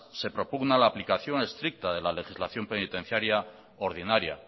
se propugna la aplicación estricta de la legislación penitenciaria ordinaria